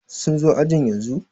sun zo ajin yanzu?